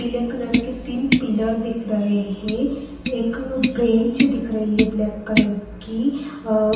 पीले कलर के तीन पिलर दिख रहे हैं। एक ब्रेंच दिख रही है ब्लैक कलर की। अ --